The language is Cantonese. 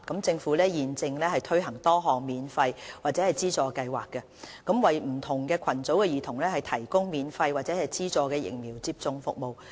政府現正推行多項免費或資助計劃，為不同群組的兒童提供免費或資助的疫苗接種服務。